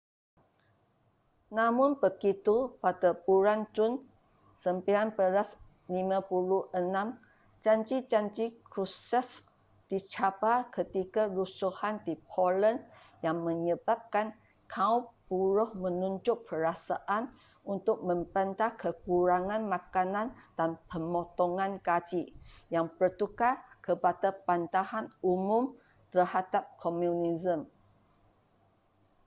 namun begitu pada bulan jun 1956 janji-janji krushchev dicabar ketika rusuhan di poland yang menyebabkan kaum buruh menunjuk perasaan untuk membantah kekurangan makanan dan pemotongan gaji yang bertukar kepada bantahan umum terhadap komunisme